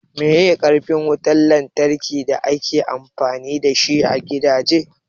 Meye karfin wutan lantraki da ake amfani dashi a gidaje?